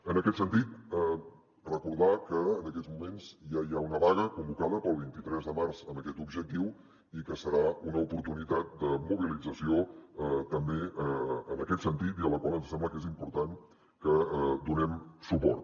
en aquest sentit recordar que en aquests moments ja hi ha una vaga convocada per al vint tres de març amb aquest objectiu i que serà una oportunitat de mobilització també en aquest sentit i a la qual ens sembla que és important que donem suport